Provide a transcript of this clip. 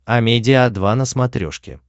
амедиа два на смотрешке